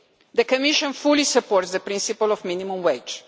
The Commission fully supports the principle of the minimum wage.